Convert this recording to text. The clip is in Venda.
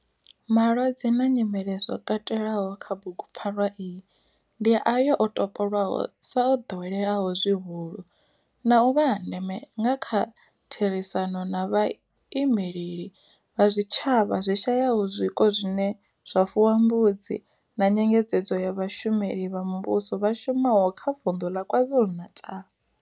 Malwadze na nyimele zwo katelwaho kha bugupfarwa iyi ndi ayo o topolwaho sa o ḓoweleaho zwihulu na u vha a ndeme nga kha therisano na vhaimeleli vha zwitshavha zwi shayaho zwiko zwine zwa fuwa mbudzi na nyengedzedzo ya vhashumeli vha muvhusho vha shumaho kha vunḓu la KwaZulu-Natal.